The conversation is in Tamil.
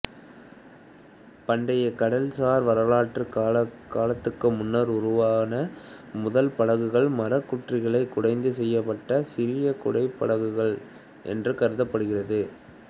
பண்டைக் கடல்சார் வரலாற்றுக் காலத்துக்கு முன்னர் உருவான முதல் படகுகள் மரக்குற்றிகளைக் குடைந்து செய்யப்பட்ட சிறிய குடைபடகுகள் என்று கருதப்படுகிறது